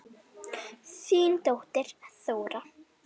Þín dóttir, Þóra.